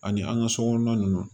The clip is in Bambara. Ani an ka sokɔnɔna ninnu